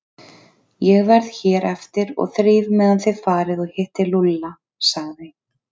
Ég verð hér eftir og þríf meðan þið farið og hittið Lúlla sagði